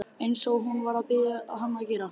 Eins og hún var að biðja hann að gera.